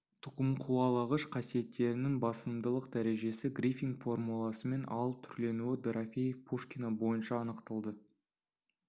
тұқымқуалағыш қасиеттерінің басымдылық дәрежесі грифинг формуласымен ал түрленуі дорофеев пушкина бойынша анықталды